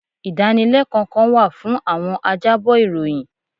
Ìdánilẹ́kọ̀ọ́ kan wà fún àwọn ajábọ̀ ìròyìn.